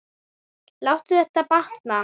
Láttu þér batna.